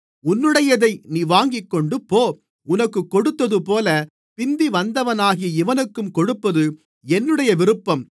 உன்னுடையதை நீ வாங்கிக்கொண்டு போ உனக்குக் கொடுத்ததுபோல பிந்திவந்தவனாகிய இவனுக்கும் கொடுப்பது என்னுடைய விருப்பம்